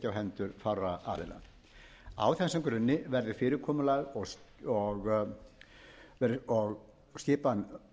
hendur fárra aðila á þessum grunni verður fyrirkomulag og skipan